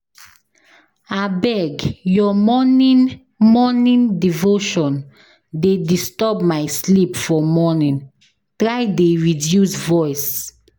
Abeg your morning devotion dey disturb my sleep for morning, try dey reduce voice.